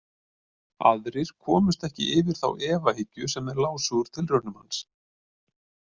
Aðrir komust ekki yfir þá efahyggju sem þeir lásu úr tilraunum hans.